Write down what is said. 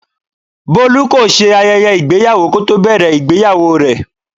Bolu kò ṣe ayẹyẹ ìgbéyàwó kò tó bẹ̀rẹ̀ ìgbéyàwó rẹ.